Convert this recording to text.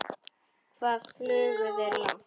Hvað flugu þeir langt?